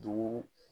Dugu